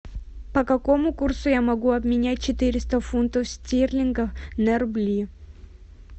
по какому курсу я могу обменять четыреста фунтов стерлингов на рубли